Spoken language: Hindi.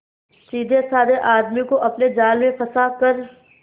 सीधेसाधे आदमी को अपने जाल में फंसा कर